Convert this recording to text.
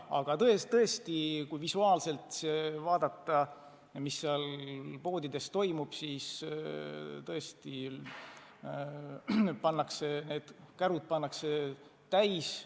Aga jah, kui vaadata, mis seal poodides toimub, siis tõesti pannakse ostukärud täis.